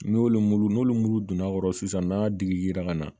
N'olu mulu n'olu mulu donna a kɔrɔ sisan n'a digira ka na